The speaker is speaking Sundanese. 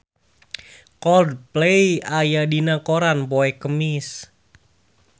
Coldplay aya dina koran poe Kemis